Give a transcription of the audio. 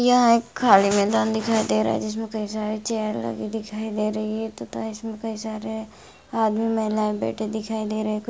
function हो रहा है वहां पर स्टेज लगा हुआ है कुर्सीयां लगी हुई है| स्टेज पर लाइटें लगी हुई है बहुत सारे लोग बैठे हैं ये एक खाली मैदान दिखायी दे रहा है| जहां सारे कुर्सी लगे दिखाये दे रहे हैं और सारे लोग भी दिखाये दे रहे हैं|